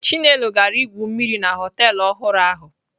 Chinelo gara igwu mmiri na họtelụ ọhụrụ ahụ.